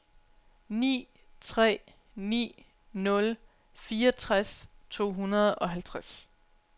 ni tre ni nul fireogtres to hundrede og halvtreds